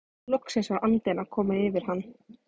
Loksins var andinn að koma yfir hann!